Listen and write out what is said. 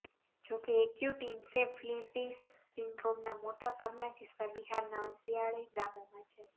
જો કે acute encephalitis સિન્ડ્રોમના મોટા ભાગના કિસ્સા બિહારના અંતરિયાળ ગામોમાં છે